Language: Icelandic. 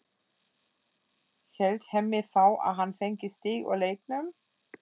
Hélt Hemmi þá að hann fengi stig úr leiknum?